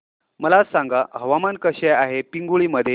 मला सांगा हवामान कसे आहे पिंगुळी मध्ये